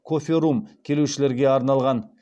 кофе рум келушілерге арналған